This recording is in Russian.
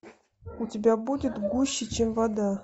у тебя будет гуще чем вода